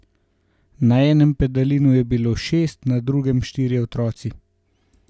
Na enem pedalinu je bilo šest, na drugem štirje otroci.